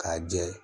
K'a jɛ